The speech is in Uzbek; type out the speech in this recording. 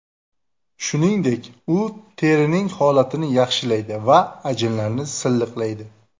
Shuningdek, u terining holatini yaxshilaydi va ajinlarni silliqlaydi.